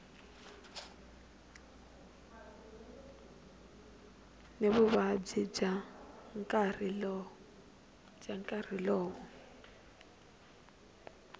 ni vuvabyi bya nkarhi lowo